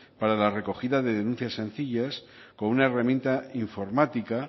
para la recogida de denuncias sencillas con una herramienta informática